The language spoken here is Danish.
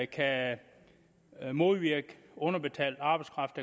kan modvirke underbetalt arbejdskraft